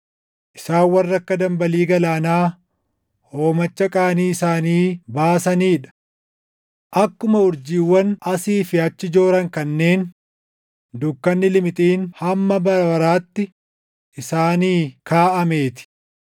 Isaan warra akka dambalii galaanaa hoomacha qaanii isaanii baasanii dha; akkuma urjiiwwan asii fi achi jooran kanneen dukkanni limixiin hamma bara baraatti isaanii kaaʼamee ti.